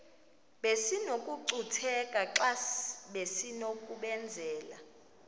besinokucutheka xa besinokubenzela